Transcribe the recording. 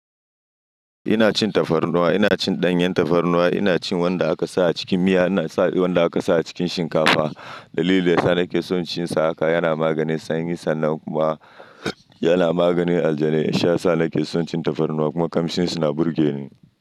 Ina cin tafarnuwa, ina cin ɗanyen tafarnuwa, ina cin wanda aka sa a cikin miya, ina sa wanda aka sa a cikin shinkafa. Dalili yasa nake son cin sa haka yana magani sanyi sannan kuma yana maganin aljanin. Shi yasa nake son cin tafarnuwa kuma ƙamshinsa na burge ni.